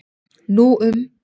Nú um